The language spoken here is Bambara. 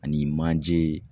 Ani manje